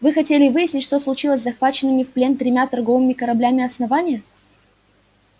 вы хотели выяснить что случилось с захваченными в плен тремя торговыми кораблями основания